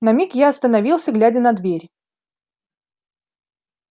на миг я остановился глядя на дверь